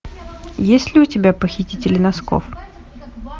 есть ли у тебя похитители носков